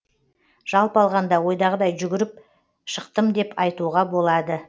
жалпы алғанда ойдағыдай жүгіріп шықтым деп айтуға болады